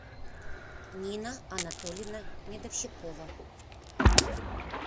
нина анатольевна медовщикова